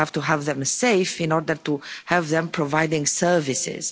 We have to have them safe in order to have them providing services.